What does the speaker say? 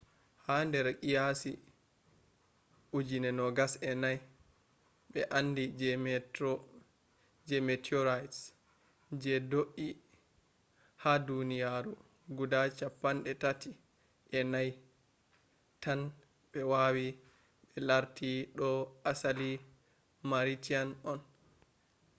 ha nder qiyasi 24,000 be andi je meteorites je do’ie ha duniyaru guda chappan’e tati ‘e nay 34 tan be wawi be larti do asali martian on